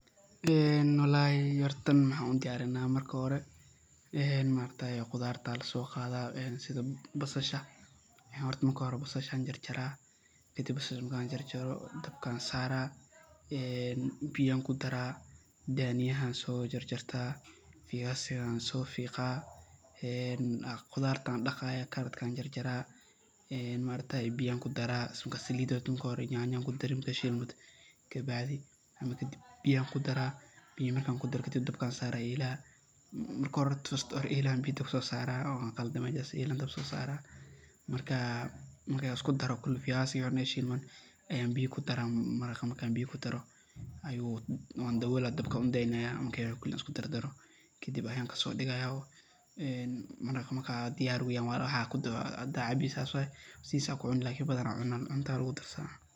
Qudradda la soo qadayo sida basasha, jarjar, dabka saar, biyo ku dar. (Daniya) jarjar, (viazi) soofeeq, karootada dhaq, biyaha ku dar, yaanyada shiil. Kadib biyo ku dar, ilaa dabka saar. Marka la isku daro, ku rid dabka, u daa, daboole. Ilaa dabka ka soo dego way diyaar tahay. Haddii la cabbo ama cuntada lagu darsado.